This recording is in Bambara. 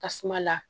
Tasuma la